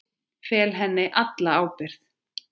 Fel henni alla ábyrgð.